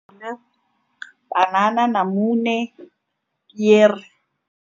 Panana, namune, pere.